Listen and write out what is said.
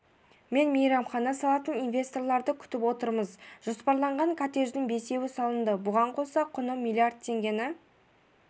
мен мейрамхана салатын инвесторларды күтіп отырмыз жоспарланған коттедждің бесеуі салынды бұған қоса құны миллиард теңгені